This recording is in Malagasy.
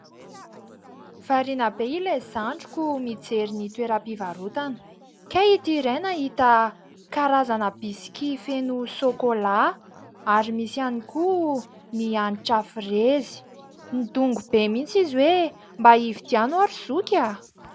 Variana be ilay zandriko mijery ny toeram-pivarotana. Kay itỳ iray nahita karazana bisky feno sôkôla ary misy ihany koa ny hanitra frezy. Nidongy be mihitsy izy hoe mba hividiano aho ry zoky a !